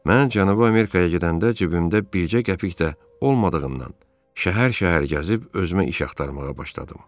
Mən Cənubi Amerikaya gedəndə cibimdə bircə qəpik də olmadığından, şəhər-şəhər gəzib özümə iş axtarmağa başladım.